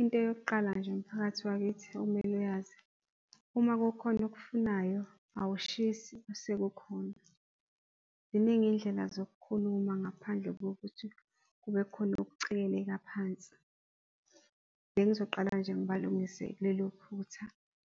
Into yokuqala nje umphakathi wakithi okmele uyazi uma kukhona okufunayo awushisi sekukhona, ziningi iyindlela zokukhuluma ngaphandle kokuthi kubekhona ukucekeleka phansi. Bengizoqala nje ngibalungise kulelo phutha